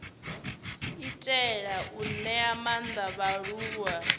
itela u ṅea maanḓa vhaaluwa